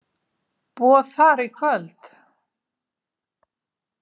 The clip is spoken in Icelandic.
Boð þar í kvöld.